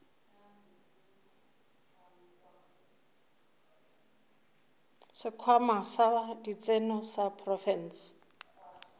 sekhwama sa ditseno sa profense